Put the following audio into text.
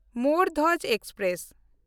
ᱢᱳᱨ Dhwaj express